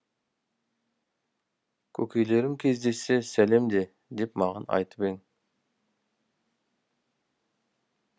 көкелерің кездессе сәлем де деп маған айтып ең